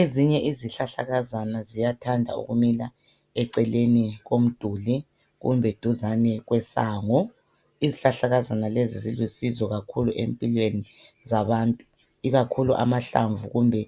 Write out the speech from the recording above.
Ezinye izihlahlakazana ziyathanda ukumila eceleni komduli kumbe duzane kwesango . Izihlahlakazana lezi zilusizo kakhulu empilweni zabantu, ikakhulu amahlamvu kumbe